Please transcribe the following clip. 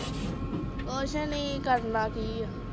ਕੁਛ ਨੀ ਕਰਨਾ ਕਿ ਆ